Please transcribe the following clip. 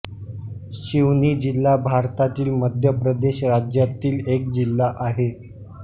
शिवनी जिल्हा भारतातील मध्य प्रदेश राज्यातील एक जिल्हा आहे